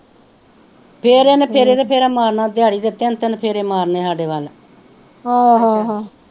ਫੇਰ ਏਹਨੇ ਫੇਰੇ ਤੇ ਫੇਰ ਮਾਰਨਾ ਦੇਹੜੀ ਦੇ ਤਿੰਨ ਤਿੰਨ ਫੇਰੇ ਮਾਰਨੇ ਸਾਡੇ ਵਲ